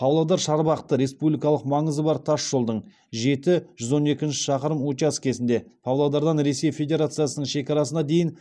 павлодар шарбақты республикалық маңызы бар тасжолдың жеті жүз он екінші шақырым учаскесінде павлодардан ресей федерациясының шекарасына дейін